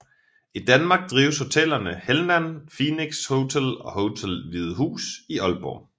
I Danmark drives hotellerne Helnan Phoenix Hotel og Hotel Hvide Hus i Aalborg